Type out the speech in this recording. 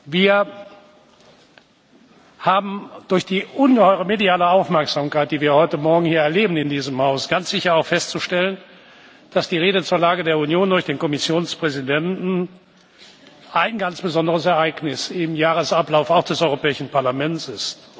Wir haben durch die ungeheure mediale Aufmerksamkeit, die wir heute Morgen hier in diesem Haus erleben, ganz sicher auch festzustellen, dass die Rede zur Lage der Union durch den Kommissionspräsidenten ein ganz besonderes Ereignis im Jahresablauf auch des Europäischen Parlaments